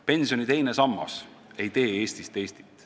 Pensioni teine sammas ei tee Eestist Eestit.